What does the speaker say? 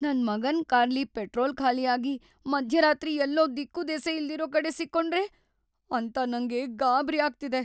ನನ್ ಮಗನ್ ಕಾರ್‌ಲಿ ಪೆಟ್ರೋಲ್ ಖಾಲಿ ಆಗಿ ಮಧ್ಯರಾತ್ರಿ ಎಲ್ಲೋ ದಿಕ್ಕುದೆಸೆ ಇಲ್ದಿರೋ ಕಡೆ ಸಿಕ್ಕೊಂಡ್ರೆ ಅಂತ ನಂಗ್ ಗಾಬ್ರಿ ಆಗ್ತಿದೆ.